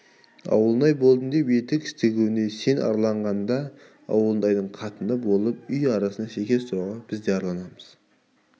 ауылнай болдым деп етік тігуге сен арланғаңда ауылнайдың қатыны болып үй арасында шекер сұрауға біз де арланамыз